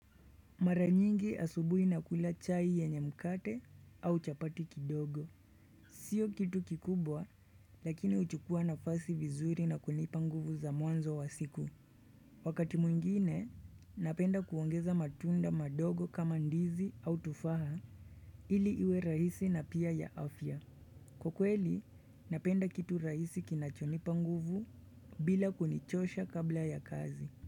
Mara nyingi asubuhi nakula chai yenye mkate au chapati kidogo. Sio kitu kikubwa lakini huchukua nafasi vizuri na kunipa nguvu za mwanzo wa siku. Wakati mwingine napenda kuongeza matunda madogo kama ndizi au tufaha ili iwe rahisi na pia ya afya. Kwa kweli napenda kitu rahisi kinachonipa nguvu bila kunichosha kabla ya kazi.